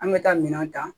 An bɛ taa minɛnw ta